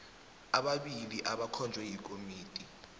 ababili abakhonjwe yikomiti